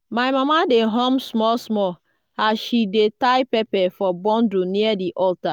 my mama dey hum small small as she dey tie pepper for bundle near di altar.